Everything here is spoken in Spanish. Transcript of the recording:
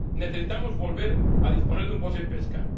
Necesitamos volver a disponer de un POSEI Pesca.